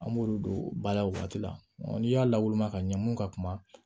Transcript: An b'olu don ba la o waati la n'i y'a lawulima ka ɲɛ mun ka kuma